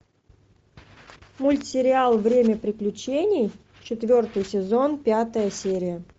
мультсериал время приключений четвертый сезон пятая серия